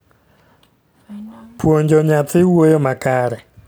Puonjo nyathi wuoyo makare